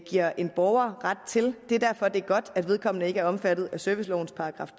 giver en borger ret til det er derfor det er godt at vedkommende ikke er omfattet af servicelovens §